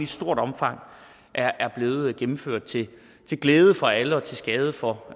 stort omfang er blevet gennemført til glæde for alle og til skade for